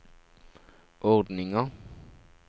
ordninga